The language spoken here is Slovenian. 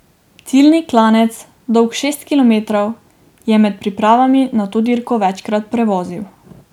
Ciljni klanec, dolg šest kilometrov, je med pripravami na to dirko večkrat prevozil.